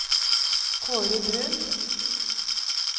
Kaare Bruun